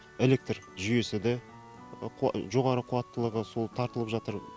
электр жүйесі де жоғары қуаттылығы сол тартылып жатыр